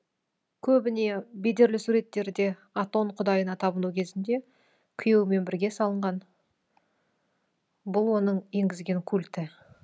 көбіне бедерлі суреттерде атон құдайына табыну кезінде күйеуімен бірге салынған бұл оның енгізген культі